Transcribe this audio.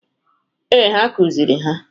Ee, ha kụzịrị ha.